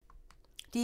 DR1